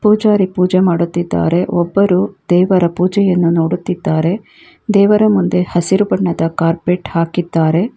ಪೂಜಾರಿ ಪೂಜೆ ಮಾಡುತ್ತಿದ್ದಾರೆ ಒಬ್ಬರು ದೇವರ ಪೂಜೆಯನ್ನು ನೋಡುತ್ತಿದ್ದಾರೆ ದೇವರ ಮುಂದೆ ಹಸಿರು ಬಣ್ಣದ ಕಾರ್ಪೆಟ್ ಹಾಕಿದ್ದಾರೆ.